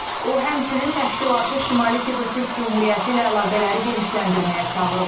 O, həmçinin təşkilatı Şimali Kipr Türk Cümhuriyyəti ilə əlaqələri genişləndirməyə çağırıb.